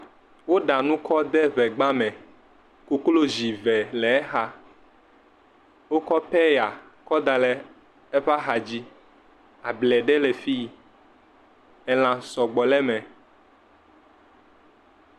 Woɖa nu kɔ de ŋegba me, koklozi eve le exa, wokɔ pɛya kɔ da ɖe eƒe axa dzi, able ɖe le fii, elã sɔgbɔ le me